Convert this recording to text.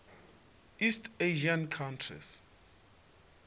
east asian countries